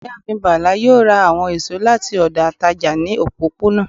ìyáàfín Bala yoo ra awọn esọ lati ọdọ atajà ni òpọponà